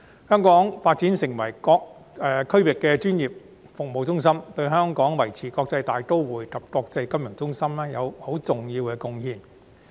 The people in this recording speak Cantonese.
香港發展成為區域專業服務中心，對香港維持國際大都會及國際金融中心有很重要的貢獻。